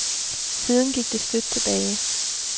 Siden gik det støt tilbage.